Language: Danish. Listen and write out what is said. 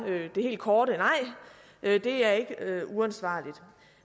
det helt korte nej det er ikke uansvarligt